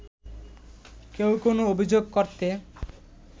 কেউ কোনো অভিযোগ করতে